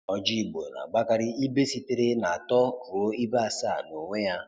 Ọjị Igbo na-agbakarị ibe sitere natọ ruo ibe asaa nonwe ya.